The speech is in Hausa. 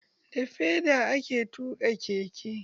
Da feda ake tuƙa keke.